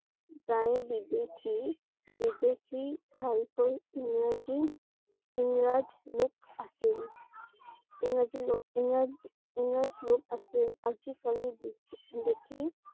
প্ৰায়ে বিদেশীবিদেশী ভাল কৈ ইংৰাজীইংৰাজ লোক আছিল। ইংৰাজী লোক ইংৰাজইংৰাজলোক আছিল। আজি কালি দেখি দেখি